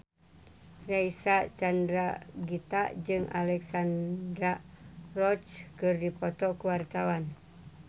Reysa Chandragitta jeung Alexandra Roach keur dipoto ku wartawan